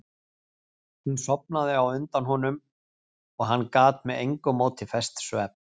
Hún sofnaði á undan honum en hann gat með engu móti fest svefn.